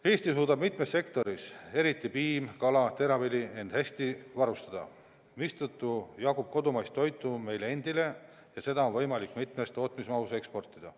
Eesti suudab mitmes sektoris end ise hästi varustada, mistõttu jagub kodumaist toitu meile endile ja seda on võimalik mitmesuguses mahus eksportida.